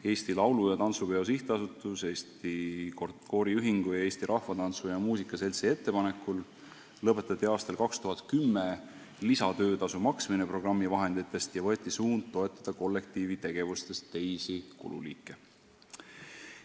Eesti Laulu- ja Tantsupeo SA, Eesti Kooriühingu ning Eesti Rahvatantsu ja Rahvamuusika Seltsi ettepanekul lõpetati aastal 2010 lisatöötasu maksmine programmi vahenditest ja võeti suund toetada kollektiivi tegevuste teisi kululiike.